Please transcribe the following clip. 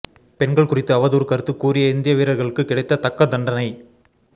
பெண்கள் குறித்து அவதூறு கருத்து கூறிய இந்திய வீரர்களுக்கு கிடைத்த தக்க தண்டனை